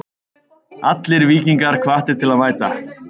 Allir Víkingar hvattir til að mæta.